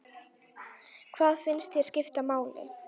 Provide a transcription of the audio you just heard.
Hvað finnst þér skipta máli?